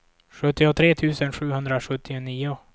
sjuttiotre tusen sjuhundrasjuttionio